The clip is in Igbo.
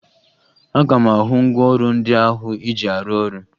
Aga m ahụ ngwaọrụ ndị ahụ ị ji arụ ọrụ